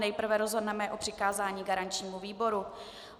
Nejprve rozhodneme o přikázání garančnímu výboru.